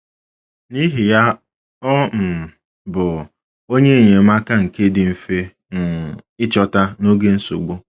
N’ihi ya, ọ um bụ “onye enyemaka nke dị mfe um ịchọta n’oge nsogbu.